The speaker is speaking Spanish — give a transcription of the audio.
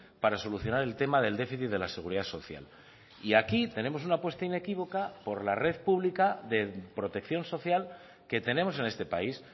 para solucionar el tema del déficit de la seguridad social y aquí tenemos una apuesta inequívoca por la red pública de protección social que tenemos en este país